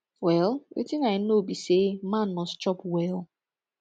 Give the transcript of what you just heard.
well wetin i know be say man must chop well